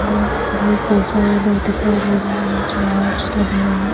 भी कई सारे लोग दिखाई दे रहे है नीचे मेट्स लगे हुए हैं।